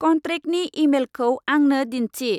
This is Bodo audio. कन्ट्रेकनि इमेलखौ आंनो दिन्थि।